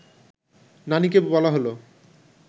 নানিকে বলা হল